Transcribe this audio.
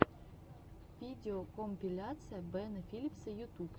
видеокомпиляция бена филипса ютуб